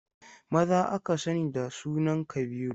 Maza aka sani da sunan Kabiru.